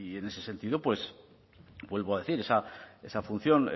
en ese sentido pues vuelvo a decir esa función